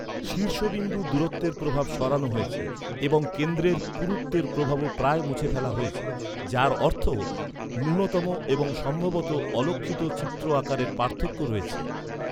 শীর্ষবিন্দু দূরত্বের প্রভাব সরানো হয়েছে এবং কেন্দ্রের পুরুত্বের প্রভাবও প্রায় মুছে ফেলা হয়েছে, যার অর্থ ন্যূনতম এবং সম্ভবত অলক্ষিত চিত্র আকারের পার্থক্য রয়েছে।